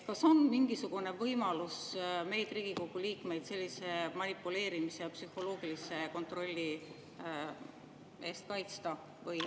Kas on mingisugune võimalus meid, Riigikogu liikmeid, sellise manipuleerimise ja psühholoogilise kontrolli eest kaitsta?